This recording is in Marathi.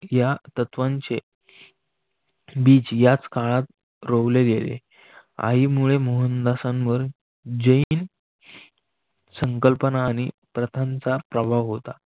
या तत्त्वांचे बीज याच काळात रोवले गेले आई मुळे मोहनदासांवर जैन संकल्पना आणि प्रथांचा प्रभाव होता.